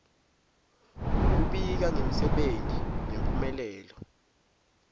kubika ngemsebenti nemphumelelo